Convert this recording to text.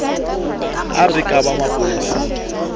a re ke ba mapolasing